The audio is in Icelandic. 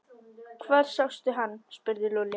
Hvar sástu hann? spurði Lúlli.